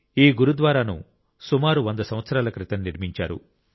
ఈ గురుద్వారాను సుమారు వంద సంవత్సరాల క్రితం నిర్మించారు